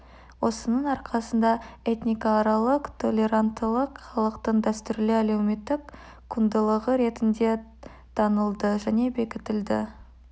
осының арқасында этникааралық толеранттылық халықтың дәстүрлі әлеуметтік құндылығы ретінде танылды және бекітілді